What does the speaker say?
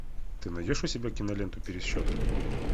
ты найдешь у себя киноленту пересчет